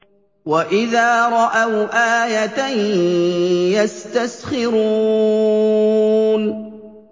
وَإِذَا رَأَوْا آيَةً يَسْتَسْخِرُونَ